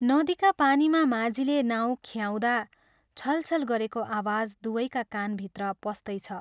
नदीका पानीमा माझीले नाउ ख्याउँदा छलछल गरेको आवाज दुवैका कानभित्र पस्तैछ!